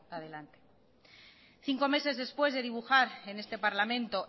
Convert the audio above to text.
adelante cinco meses después de dibujar en este parlamento